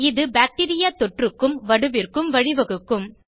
இது பாக்டீரியா தொற்றுக்கும் வடுவிற்கும் வழிவகுக்கும்